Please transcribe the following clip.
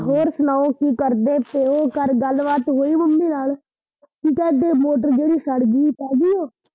ਹੋਰ ਸੁਣਾਉ ਕੀ ਕਰਦੇ ਪਏ, ਘਰ ਗੱਲਬਾਤ ਹੋਈ ਮੰਮੀ ਨਾਲ, ਕੀ ਕਹਿੰਦੇ ਮੋਟਰ ਜਿਹੜੀ ਸੜਗੀ ਪੈਗੀ ਓ।